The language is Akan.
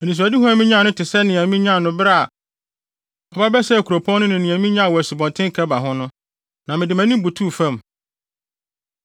Anisoadehu a minyaa no te sɛnea minyaa no bere a ɔba bɛsɛee kuropɔn no ne nea minyaa wɔ Asubɔnten Kebar ho no, na mede mʼanim butuw fam.